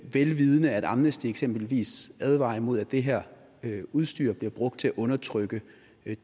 vel vidende at amnesty eksempelvis advarer imod at det her udstyr bliver brugt til at undertrykke